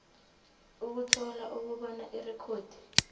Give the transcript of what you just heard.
ukuthola ukubona irekhodi